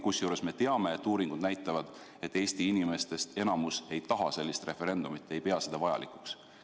Kusjuures me teame, et uuringud näitavad, et enamik Eesti inimesi ei taha sellist referendumit, ei pea seda vajalikuks.